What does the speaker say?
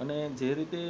અને જે રીતે